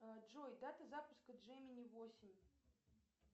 джой дата запуска джемини восемь